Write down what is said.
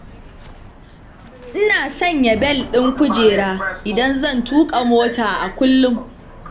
Ina sanya bel ɗin kujera idan zan tuƙa mota a kullum.